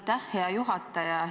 Aitäh, hea juhataja!